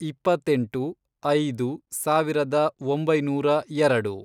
ಇಪ್ಪ್ಪತ್ತೆಂಟು, ಐದು, ಸಾವಿರದ ಒಂಬೈನೂರ ಎರಡು